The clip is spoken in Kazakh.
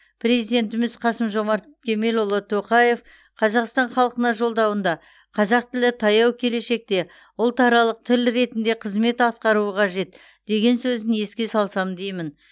президентіміз қасым жомарт кемелұлы тоқаев қазақстан халқына жолдауында қазақ тілі таяу келешекте ұлтаралық тіл ретінде қызмет атқаруы қажет деген сөзін еске салсам деймін